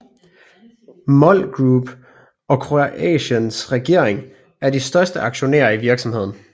MOL Group og Kroatiens regering er de største aktionærer i virksomheden